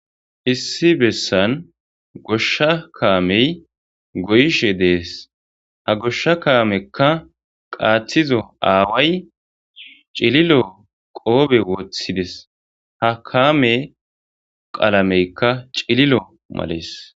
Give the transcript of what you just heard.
issi bessan goshsha kaamey goyishe dees ha goshsha kaamekka qaathizo aaway cililo qoobe woththides ha kaame qalameykka cililo malees